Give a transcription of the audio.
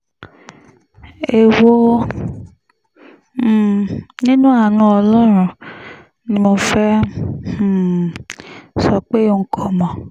èwo um nínú àánú ọlọ́run ni mo fẹ́ẹ́ um sọ pé n kò mọ̀